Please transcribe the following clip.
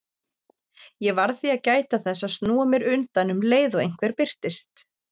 Ég varð því að gæta þess að snúa mér undan um leið og einhver birtist.